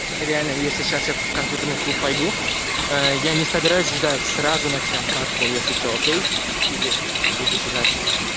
реально если сейчас я в компьютерный клуб пойду я не собираюсь ждать сразу начнём катку если что окей или будешь ждать